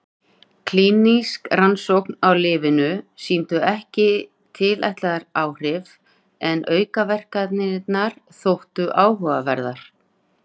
Klínísk rannsókn á lyfinu sýndi ekki tilætluð áhrif en aukaverkanirnar þóttu áhugaverðar.